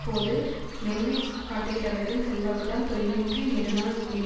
போது மென்மை காட்டுகிறவர்களின் செல்வாக்குதான் தொய்வின்றி நெடுநாள் நிடிக்